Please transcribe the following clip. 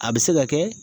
A bɛ se ka kɛ